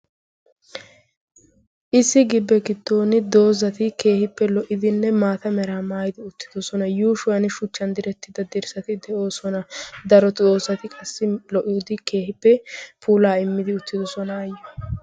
Issi gibe giddon doozati keehippe lo'idinne maata meraa maayidi uttidosona. Yushuwaa shuchchan direttida dirssati de'osona. Daro doozati qassi lo'idi keehippe pulaa immidi uttidosona ayyo.